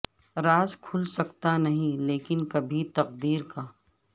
راز کھل سکتا نہیں لیکن کبھی تقدیر کا